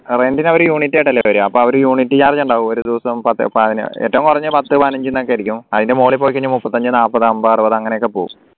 rent നു അവര് unit ആയിട്ടല്ലേ തരാ അപ്പോ ഒരു unit charge ഉണ്ടാവും ഒരു ദിവസം ഏറ്റവും കുറഞ്ഞത് പത്തോ പതിനഞ്ചോ ഒക്കെ ആയിരിക്കും അതിൻറെ മുകളിൽ പോയി കഴിഞ്ഞാൽ മുപ്പത്തിഅഞ്ചോ നാല്പത് അമ്പത് അറുപത് അങ്ങനെയൊക്കെ പോവു